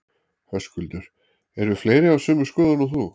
Höskuldur: Eru fleiri á sömu skoðun og þú?